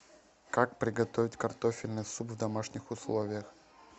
как приготовить картофельный суп в домашних условиях